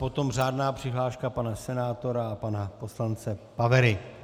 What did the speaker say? Potom řádná přihláška pana senátora a pana poslance Pavery.